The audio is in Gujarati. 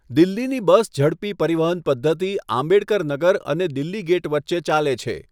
દિલ્હીની બસ ઝડપી પરિવહન પદ્ધતિ આંબેડકર નગર અને દિલ્હી ગેટ વચ્ચે ચાલે છે.